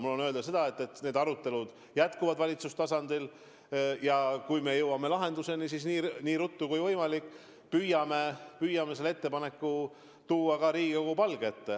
Mul on öelda seda, et need arutelud jätkuvad valitsustasandil ja kui me jõuame lahenduseni, siis nii ruttu kui võimalik püüame selle ettepaneku tuua ka Riigikogu palge ette.